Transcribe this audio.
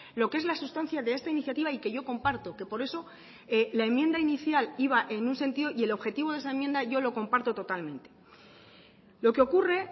lo que es la sustancia de esta iniciativa y que yo comparto que por eso la enmienda inicial iba en un sentido y el objetivo de esa enmienda yo lo comparto totalmente lo que ocurre